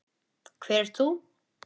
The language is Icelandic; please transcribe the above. Hver ert þú?